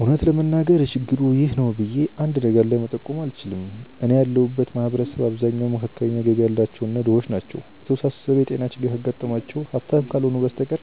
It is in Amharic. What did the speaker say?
እውነት ለመናገር ችግሩ 'ይህ ነው' ብዬ አንድ ነገር ላይ መጠቆም አልችልም። እኔ ያለሁበት ማህበረሰብ አብዛኛው መካከለኛ ገቢ ያላቸው እና ድሆች ናቸው። የተወሳሰበ የጤና ችግር ካጋጠማቸው ሀብታም ካልሆኑ በስተቀር